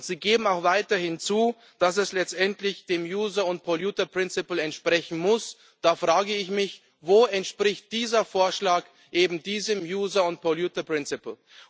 Und Sie geben auch weiterhin zu, dass es letztendlich dem user and polluter principle entsprechen muss. Da frage ich mich Wo entspricht dieser Vorschlag eben diesem user and polluter principle